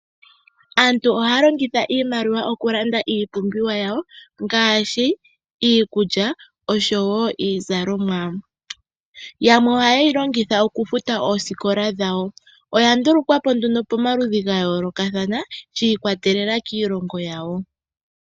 Aantu ohaya longitha iimaliwa okulanda iipumbiwa yawo ngaashi iikulya osho wo iizalomwa. Yamwe ohaye yi longitha okufuta oosikola dhawo. Oya ndulukwa po nduno pamaludhi ga yoolokathana shi ikwatelela kiilongo yawo.